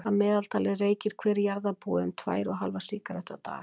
að meðaltali reykir hver jarðarbúi um tvær og hálfa sígarettu á dag